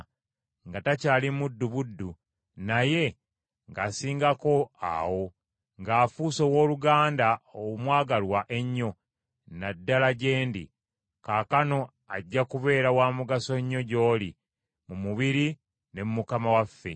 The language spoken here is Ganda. nga takyali muddu buddu, naye ng’asingako awo, ng’afuuse owooluganda omwagalwa ennyo, na ddala gye ndi. Kaakano ajja kubeera wa mugaso nnyo gy’oli mu mubiri ne mu Mukama waffe.